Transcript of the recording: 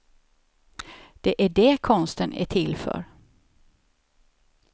Det är det konsten är till för.